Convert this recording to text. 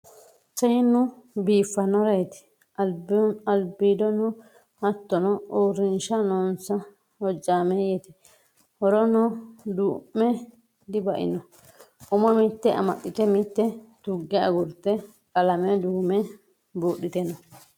Seennu biifanoreti albiidono hattono uurrinsha noonsa hojameyete horono dumme dibaino umo mite amaxite mite tuge agurte qalame duume budhite no.